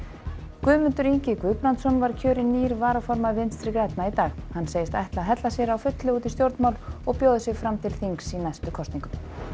Guðmundur Ingi Guðbrandsson var kjörinn nýr varaformaður Vinstri grænna í dag hann segist ætla að hella sér á fullu út í stjórnmál og bjóða sig fram til þings í næstu kosningum